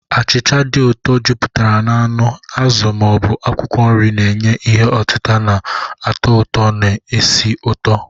Achịcha dị ụtọ, jupụtara na anụ, azụ, ma ọ bụ akwụkwọ nri, na-enye ihe otita na-atọ ụtọ na esi ụtọ.